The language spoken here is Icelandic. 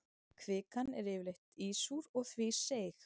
Kvikan er yfirleitt ísúr og því seig.